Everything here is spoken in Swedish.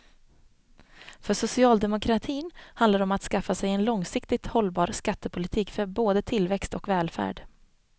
För socialdemokratin handlar det om att skaffa sig en långsiktigt hållbar skattepolitik för både tillväxt och välfärd.